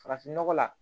Farafin nɔgɔ la